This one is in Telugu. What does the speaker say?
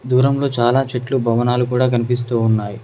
దూరంలో చాలా చెట్లు మరియు భవనాలు కూడా కనిపిస్తూ ఉన్నాయి.